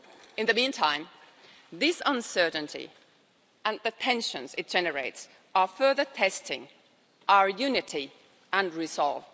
In the meantime, this uncertainty and the tensions it generates are further testing our unity and resolve.